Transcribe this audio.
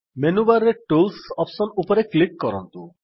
menu bar ରେ tools options ଉପରେ click କରନ୍ତୁ